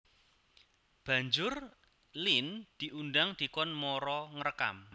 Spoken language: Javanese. Banjur Lene diundang dikon mara ngrekam